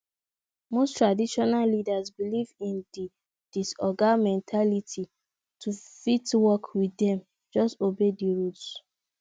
most traditional leaders believe in di oga mentality to fit work with dem just obey di rules